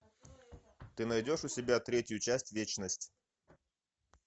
ты найдешь у себя третью часть вечность